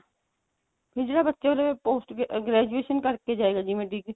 ਨਹੀਂ ਜਿਹੜਾ ਬੱਚਾ ਉਰੇ post graduation ਕਰਕੇ ਜਾਏਗਾ ਜਿਵੇਂ ਡਿਗਰੀ